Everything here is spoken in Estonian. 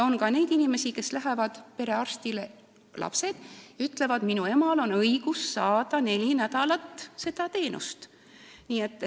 On ka neid inimesi, kes lähevad perearsti juurde ja ütlevad, et nende emal on õigus neli nädalat seda teenust saada.